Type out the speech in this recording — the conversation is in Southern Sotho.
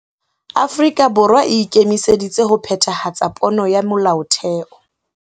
Afrika Borwa e ikemiseditse ho phethahatsa pono ya Molaotheo.